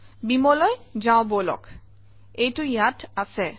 Beamer অলৈ যাওঁ বলক এইটো ইয়াত আছে